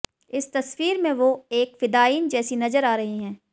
इस तस्वीर में वो एक फिदायीन जैसी नजर आ रही हैं